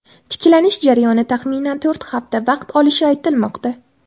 Tiklanish jarayoni taxminan to‘rt hafta vaqt olishi aytilmoqda.